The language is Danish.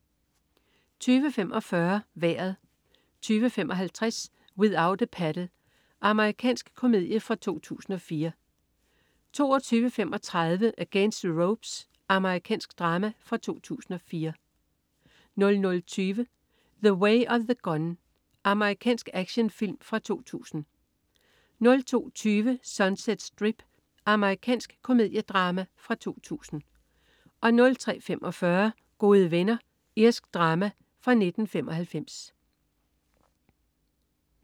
20.45 Vejret 20.55 Without a Paddle. Amerikansk komedie fra 2004 22.35 Against the Ropes. Amerikansk drama fra 2004 00.20 The Way of the Gun. Amerikansk actionfilm fra 2000 02.20 Sunset Strip. Amerikansk komediedrama fra 2000 03.45 Gode venner. Irsk drama fra 1995